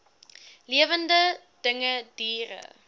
lewende dinge diere